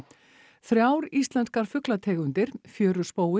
þrjár íslenskar fuglategundir